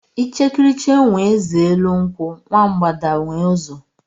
Ichekiricha nwe eze elu nkwu, nwa mbgada nwe uzo